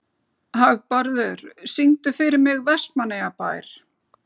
Hagbarður, syngdu fyrir mig „Vestmannaeyjabær“.